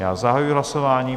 Já zahajuji hlasování.